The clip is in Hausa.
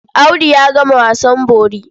Audu ya gama wasan bori.